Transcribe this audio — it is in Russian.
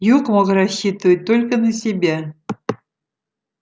юг мог рассчитывать только на себя